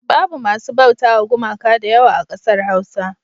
Babu masu bautawa gumaka da yawa a ƙasar Hausa.